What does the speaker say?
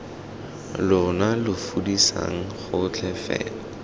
lona lo fudiseng gotlhe fela